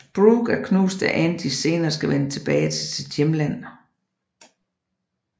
Brooke er knust da Angie senere skal vende tilbage til sit hjemland